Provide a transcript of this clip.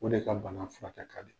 O de ka bana furakɛ kadi.